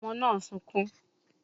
Ọmọ náà sunkún